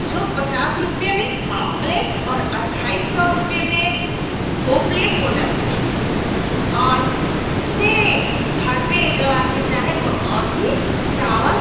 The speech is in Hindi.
जो पचास रुपय में हाफ प्लेट और अढ़ाई सौ रूपय में दो प्लेट हो जाते हैं और उसमें घर पे जो आदमी चाहे तो और भी चावल --